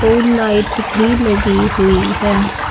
और लाइट भी लगी हुई है।